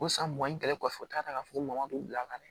O san mugan ni kelen kɔfɛ u t'a ta ka fɔ ko mɔgo bila ka na